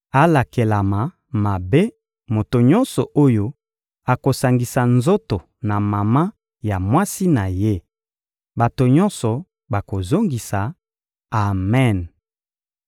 «Alakelama mabe moto nyonso oyo akosangisa nzoto na mama ya mwasi na ye!» Bato nyonso bakozongisa: «Amen!»